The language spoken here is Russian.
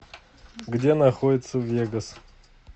где находится вегас